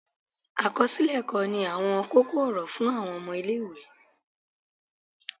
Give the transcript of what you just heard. akọsilẹ ẹkọ ní awọn koko-ọrọ fun awọn ọmọ ile-iwe